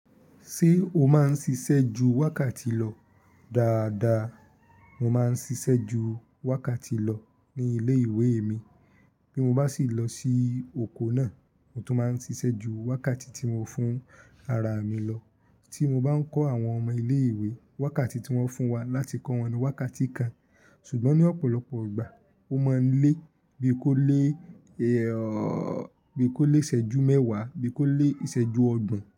Ṣé o máa ń ṣiṣẹ́ ju wákàtí lọ? Daadaa mo máa ń ṣiṣẹ́ ju wákàtí lọ ní ilé ìwé mi. Bí mo bá sì lọ sí oko náà, mo tún máa ń ṣiṣẹ́ ju wákàtí tí mo fún ara mi lọ. Tí mo bá ń kọ́ àwọn ọmọ ilé ìwé, wákàtí tí wọ́n fún wa láti kọ́ wọn ni wákàtí kan. Ṣùgbọ́n ní ọ̀pọ̀lọpọ̀ ìgbà, o máa ń lé bí i kó lé, bí i kó lé ìṣẹ́jú mẹ́wàá, bí i kó lé ìṣẹ́jú ọgbọ̀n.